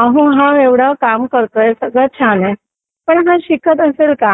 अहो हा एवढा काम करतोय सगळं छान आहे पण हा शिकत असेल का?